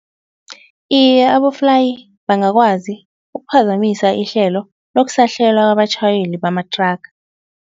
Iye aboflayi bangakwazi ukuphazamisa ihlelo lokusahlelwa kwabatjhayeli bamathraga.